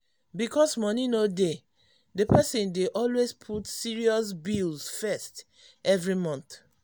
because money no dey the person dey always put serious bills first every month.